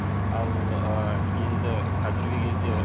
ал ы енді қазіргі кезде